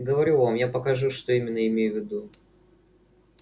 говорю вам я покажу что именно имею ввиду